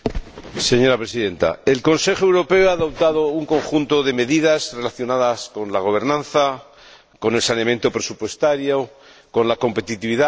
Señora Presidenta, el Consejo Europeo ha adoptado un conjunto de medidas relacionadas con la gobernanza, con el saneamiento presupuestario, con la competitividad, etc.